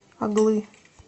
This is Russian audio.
оглы